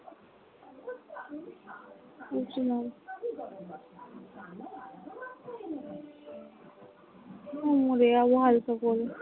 আমি মরে যাবো হালকা করে।